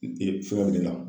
E fura bi ne la